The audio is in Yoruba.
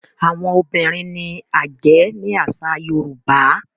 Àwọn obìrin ní ajé ní àsà yorùbá.